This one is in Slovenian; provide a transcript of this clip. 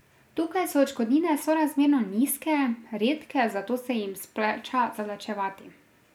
Tukaj so odškodnine sorazmerno nizke, redke, zato se jim splača zavlačevati.